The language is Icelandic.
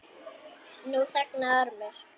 Nú þagnaði Ormur.